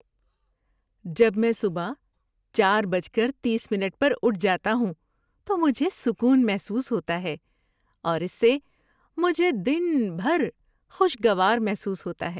جب میں صبح چار بجے تیس منٹ اٹھ جاتا ہوں تو مجھے سکون محسوس ہوتا ہے اور اس سے مجھے دن بھر خوشگوار محسوس ہوتا ہے۔